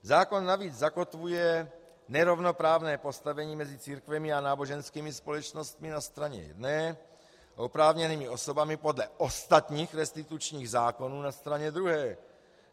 Zákon navíc zakotvuje nerovnoprávné postavení mezi církvemi a náboženskými společnostmi na straně jedné a oprávněnými osobami podle ostatních restitučních zákonů na straně druhé.